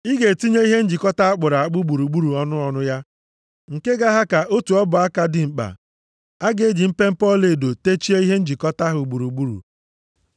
Ị ga-etinye ihe njikọta a kpụrụ akpụ gburugburu ọnụ ọnụ ya, nke ga-aha ka otu ọbụ aka + 25:25 Ihe dịka inchi atọ dimkpa. A ga-eji mpempe ọlaedo techie ihe njikọta ahụ gburugburu.